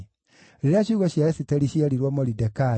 Rĩrĩa ciugo cia Esiteri cierirwo Moridekai,